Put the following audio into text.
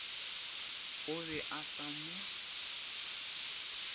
o be o sa mo